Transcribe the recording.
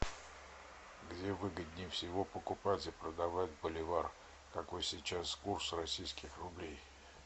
где выгоднее всего покупать и продавать боливар какой сейчас курс российских рублей